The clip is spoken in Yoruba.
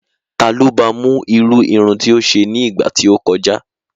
Ta ló ba mú irú irun tí ó ṣe ní ìgbà tí ó kọjá?